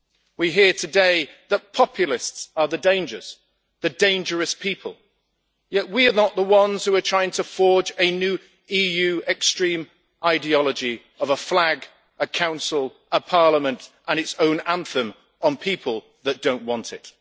We hear today that populists are the dangers the dangerous people yet we are not the ones who are trying to forge a new EU extreme ideology of a flag, a Council, a Parliament and its own anthem on people who do not want it.